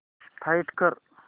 find कर